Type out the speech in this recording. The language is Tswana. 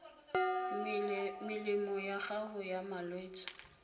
melemo ya gago ya malwetse